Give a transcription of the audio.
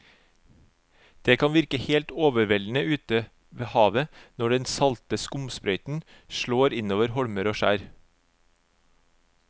Det kan virke helt overveldende ute ved havet når den salte skumsprøyten slår innover holmer og skjær.